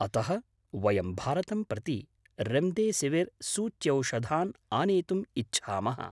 अतः, वयं भारतं प्रति रेम्देसिविर् सूच्यौषधान् आनेतुम् इच्छामः।